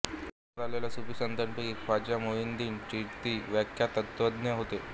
भारतात आलेल्या सुफी संतांपैकी ख्वाजा मोईनोद्दीन चिश्ती विख्यात तत्त्वज्ञ होते